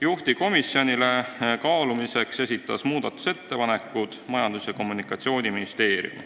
Juhtivkomisjonile esitas kaalumiseks muudatusettepanekud Majandus- ja Kommunikatsiooniministeerium.